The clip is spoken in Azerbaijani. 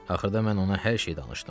Axırda mən ona hər şeyi danışdım.